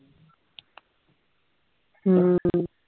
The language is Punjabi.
ਹੂ